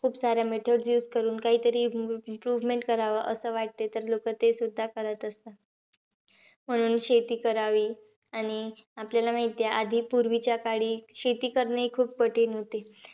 खूप parameters use करून काहीतरी improvement करावं असं वाटते. तर लोकं तेसुद्धा करत असतात. म्हणून शेती करावी. आणि आपल्याला माहितीयं. आधी, पूवीच्या काळी, शेती करणेही खूप कठीण होते.